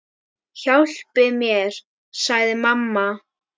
Hjálpi mér, sagði mamma.